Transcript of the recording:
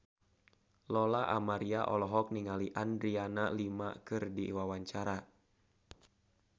Lola Amaria olohok ningali Adriana Lima keur diwawancara